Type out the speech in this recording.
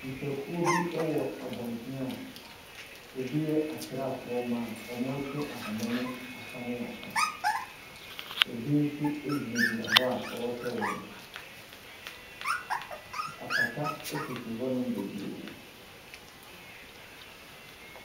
Nnipakuo wɔ abɔnten a bi yɛ asraafoɔ mmaa a wɔretwe ahoma mu afa ne afa. Bi nso gyinagyina hɔ a wɔrehwɛ wɔn. Apata sisi hɔnom bebree.